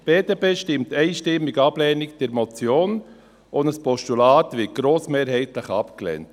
Die BDP stimmt einstimmig auf Ablehnung der Motion, und auch ein Postulat wird grossmehrheitlich abgelehnt.